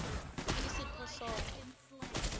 tisiphohlongo